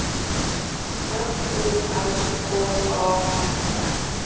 F O R K A N T